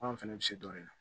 Anw fɛnɛ bɛ se dɔ de la